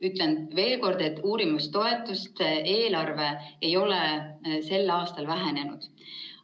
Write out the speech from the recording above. " Ütlen veel kord, et uurimistoetuste eelarve ei ole sel aastal vähenenud.